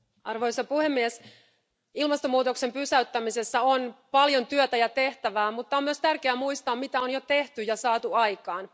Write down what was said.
Arvoisa puhemies, ilmastonmuutoksen pysäyttämisessä on paljon työtä ja tehtävää, mutta on myös tärkeää muistaa, mitä on jo tehty ja saatu aikaan.